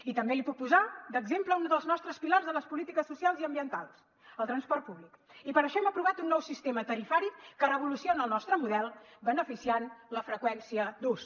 i també li puc posar d’exemple uns dels nostres pilars de les polítiques socials i ambientals el transport públic i per això hem aprovat un nou sistema tarifari que revoluciona el nostre model beneficiant la freqüència d’ús